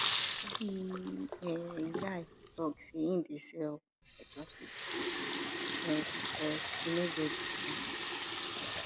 the um guy tok sey im dey sell for traffic um because im no get job um